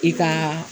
I ka